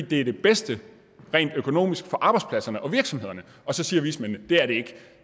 det er det bedste rent økonomisk for arbejdspladserne og for virksomhederne så siger vismændene at det er det ikke